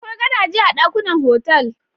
Akwai gadaje a dakunan otal.